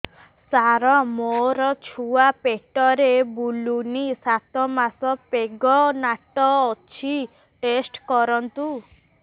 ସାର ମୋର ଛୁଆ ପେଟରେ ବୁଲୁନି ସାତ ମାସ ପ୍ରେଗନାଂଟ ଅଛି ଟେଷ୍ଟ କରନ୍ତୁ